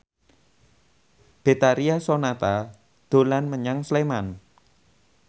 Betharia Sonata dolan menyang Sleman